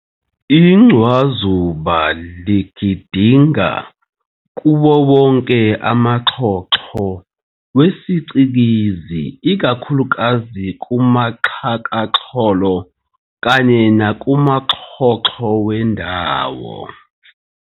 Incwazuba ligidinga kuwo wonke amaxhoxho wesiCikizi, ikakhulukazi kuxhakaxholo, kanye nakumaxhoxho wendawo.